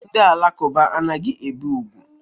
Ndi alakụba anaghi ebe ùgwú.